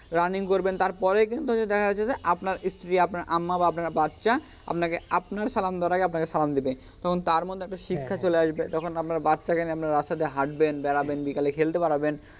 running করবেন তারপরেই কিন্তু দেখা যাইতেসে যে আপনার স্ত্রী আপনার আম্মা বা আপনার বাচ্চা আপনাকে আপনার সালাম দেওয়ার আগেই আপনাকে সালাম দিবে তখন তার মধ্যে একটা শিক্ষা চলে আসবে তখন আপনার বাচ্চাকে নিয়ে আপনি রাস্তা দিয়া হাটবেন বেড়াবেন বিকালে খেলতে বেড়াবেন,